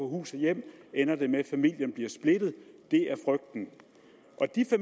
hus og hjem ender det med at familien bliver splittet det